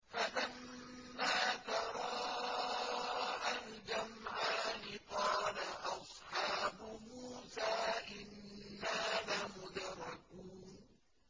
فَلَمَّا تَرَاءَى الْجَمْعَانِ قَالَ أَصْحَابُ مُوسَىٰ إِنَّا لَمُدْرَكُونَ